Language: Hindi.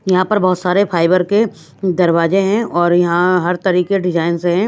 यहाँ पर बहुत सारे फाइबर के दरवाजे हैं और यहाँ हर तरीके डिजाइन्स हैं।